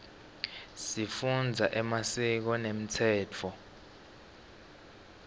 sifundza emasiko nemtsetfo